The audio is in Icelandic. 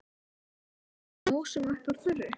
Ég var farin að vatna músum upp úr þurru!